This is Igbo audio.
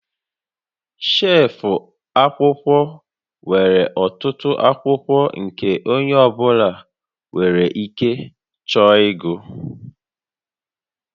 Shelf akwụkwọ nwere ọtụtụ akwụkwọ nke onye ọ bụla nwere ike chọọ ịgụ